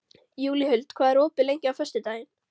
Júlíhuld, hvað er opið lengi á föstudaginn?